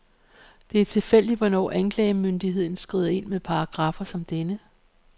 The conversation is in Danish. Det er tilfældigt, hvornår anklagemyndigheden skrider ind med paragraffer som denne.